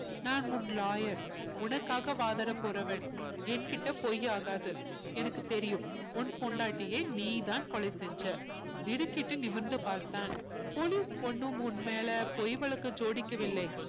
நான் உன் lawyer உனக்காக வாதாட போறவன் என்கிட்ட பொய் ஆகாது எனக்கு தெரியும் உன் பொண்டாட்டியை நீதான் கொலை செஞ்ச திடுக்கிட்டு நிமிர்ந்து பார்த்தான் police ஒண்ணும் உன் மேல பொய் வழக்கு ஜோடிக்கவில்லை